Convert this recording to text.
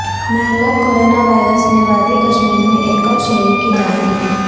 مہلک کورناوائرس نے وادی کشمیر میں ایک اور شہری کی جان لی